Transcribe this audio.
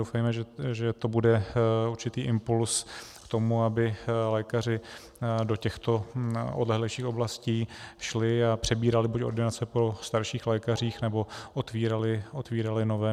Doufejme, že to bude určitý impuls k tomu, aby lékaři do těchto odlehlejších oblastí šli a přebírali buď ordinace po starších lékařích, nebo otvírali nové.